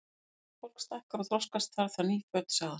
Þegar ungt fólk stækkar og þroskast, þarf það ný föt sagði hann.